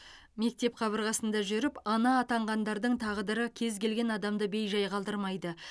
мектеп қабырғасында жүріп ана атанғандардың тағдыры кез келген адамды бей жай қалдырмайды